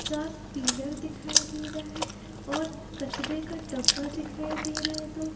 चार पीलर दिखाई दे रहा है और कचरे का डब्बा दिखाई दे रहा है दो।